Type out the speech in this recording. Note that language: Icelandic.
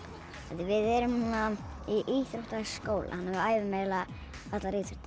við erum núna í íþróttaskólanum æfum eiginlega allar íþróttir